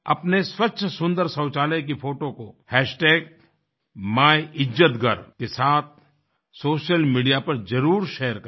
अपने स्वच्छ सुन्दर शौचालय की फ़ोटो को माइलजातघर के साथ सोशल मीडिया पर ज़रूर शेयर करें